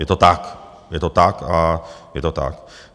Je to tak, je to tak a je to tak!